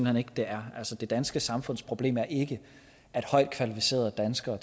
hen ikke det er det danske samfundsproblem er ikke at højt kvalificerede danskere